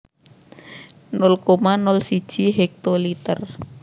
nol koma nol siji hektoliter